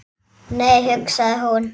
Nei, hugsaði hún.